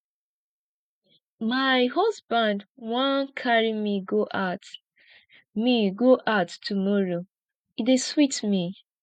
my husband wan carry me go out me go out tomorrow e dey sweet me